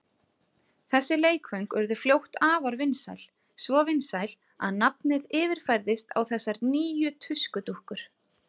Þessi leikföng urðu fljótt afar vinsæl, svo vinsæl að nafnið yfirfærðist á þessar nýju tuskudúkkur.